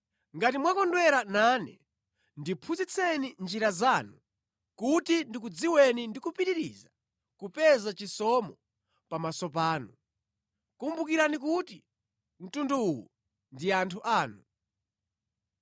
Ngati mwakondwera nane ndiphunzitseni njira zanu kuti ndikudziweni ndi kupitiriza kupeza chisomo pamaso panu. Kumbukirani kuti mtundu uwu ndi anthu anu.”